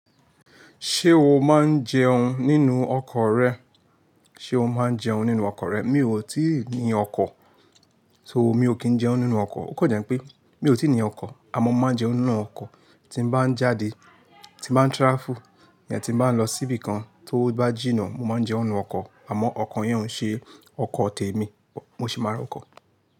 Ṣé o máa ń jẹun nínú ọkọ̀ rẹ? Ṣé o máa ń jẹun nínú ọkọ̀ rẹ? Mi ò tíì ní ọkọ̀, so mi ò kí ń jẹun nínú ọkọ̀. Ó kọ̀ jẹ́ pé mi ò tí ì ní ọkọ̀, àmọ́ mo máa ń jẹun nínú ọkọ̀ tí mo bá ń jáde, tí mo bá ń travel, nígbà tí mo bá ń lọ síbi kan tó bá jìnnà. Mo máa ń jẹun nínú ọkọ̀, àmọ́ ọkọ̀ yẹn ò ṣe ọkọ̀ tèmi, mo sì mára ọkọ̀.